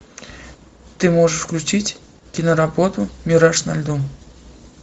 ты можешь включить киноработу мираж на льду